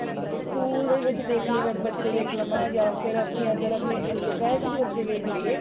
school ਦੇ ਵਿੱਚ ਦੇਖ ਲਵਾਂ ਬੱਚੇ ਦੇਖ ਲਵਾ ਜਾ ਫ਼ਿਰ ਅਸੀਂ ਅਗਰ ਆਪਣੇ locality ਦੇ ਬੱਚੇ ਵੇਖ ਲਈਏ